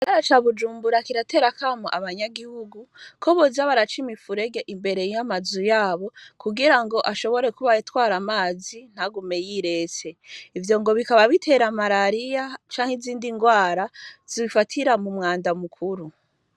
Bara ca bujumbura kiraterakamu abanyagihugu ko bozabaraca imifurege imbere yoamazu yabo kugira ngo ashobore kuba yitwara amazi ntagume yirese ivyo ngo bikaba bitera malariya canke izindi ngwara zifatira mu mwanda mukuru.